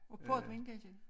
Og portvin kan jeg se